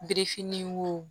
Birifinni wo